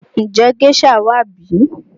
Ǹjẹ́ géșà wà bí?